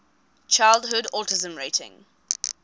childhood autism rating